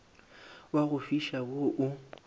wa go fiša wo o